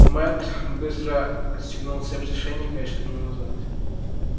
мэтт быстро отстегнул цепь с ошейника и шагнул назад